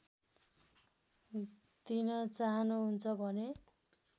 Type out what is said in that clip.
दिन चाहनुहुन्छ भने